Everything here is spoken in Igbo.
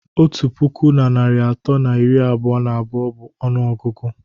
Otu puku na narị atọ na iri abụọ na abụọ bụ ọnụọgụgụ